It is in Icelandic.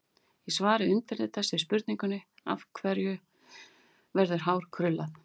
Í svari undirritaðs við spurningunni: Af hverju verður hár krullað?